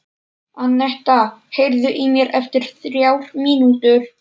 Annetta, heyrðu í mér eftir þrjár mínútur.